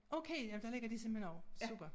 Okay ja der ligger de simpelthen også super